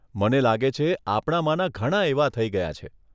મને લાગે છે, આપણામાના ઘણાં એવાં થઈ ગયાં છે.